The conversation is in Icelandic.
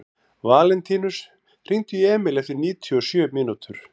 Valentínus, hringdu í Emíl eftir níutíu og sjö mínútur.